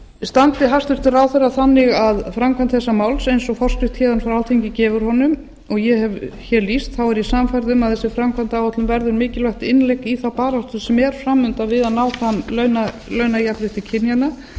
standi hæstvirtur ráðherra þannig að framkvæmd þessa máls eins og forskrift héðan frá alþingi gefur honum og ég hef hér lýst þá er ég sannfærð um að þessi framkvæmdaáætlun verður mikilvægt innlegg í þá baráttu sem er fram undan við að ná fram launajafnrétti kynjanna og